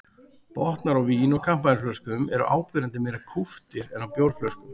Botnar á vín- og kampavínsflöskum eru áberandi meira kúptir en á bjórflöskum.